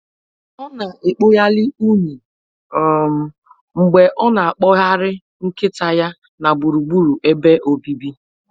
Ọ na-ekpoli unyi um mgbe ọ na-akpọgharị nkịta ya na gburugburu ebe obibi